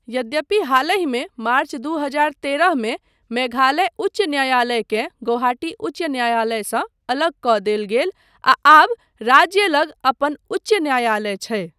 यद्यपि हालहिमे मार्च दू हजार तेरह मे मेघालय उच्च न्यायालयकेँ गुवाहाटी उच्च न्यायालयसँ अलग कऽ देल गेल आ आब राज्य लग अपन उच्च न्यायालय छै।